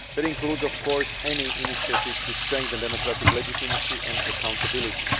That includes of course any initiatives to strengthen democratic legitimacy and accountability.